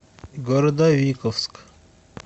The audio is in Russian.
городовиковск